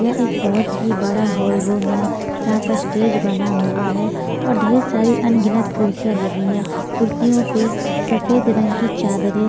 यह एक बहुत ही बड़ा होल रूम है जहां पर स्टेज बना हुआ है और ढेर सारी अनगिनत कुर्सियां लगी हैं कुर्सियों पर सफेद रंग की चादरें--